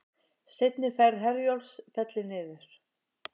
Seinni ferð Herjólfs fellur niður